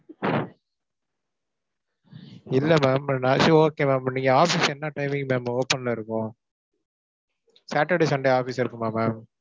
இல்ல ma'am நான் சரி okay ma'am நீங்க office என்ன timing ma'am open ல இருக்கும்? Saturday, Sunday office இருக்குமா ma'am?